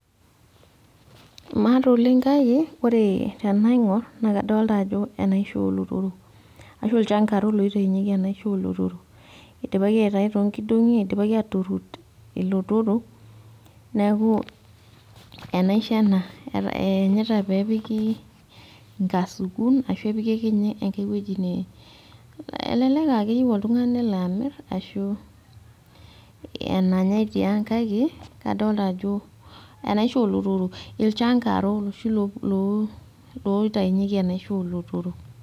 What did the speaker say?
imaata oleng kake ore tenaing'or naa enaisho oolotorok. ashu ilchankaro loitayunyieki enaiasho oolotorok. idipaki aitayu too nkidongi. idipaki aaturur ilotorok. neeku, enaisho ena, eenyita pee epiki nkasukun ashu epiki akeyie ae wueji.ne elelk aakeyieu oltungani nelo amir ashu enanyae tiang kake kadoolta ajo enaaisho oolotorok. ilchangaro iloshi loitayunyieki enaisho oolotorok.